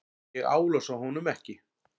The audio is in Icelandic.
Ég álasa honum ekki.